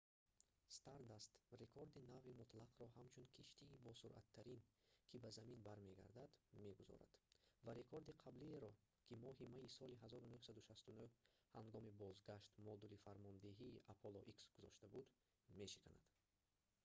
stardust рекорди нави мутлақро ҳамчун киштии босуръаттарин ки ба замин бармегардад мегузорад ва рекорди қаблиеро ки моҳи майи соли 1969 ҳангоми бозгашт модули фармондеҳии apollo x гузошта буд мешиканад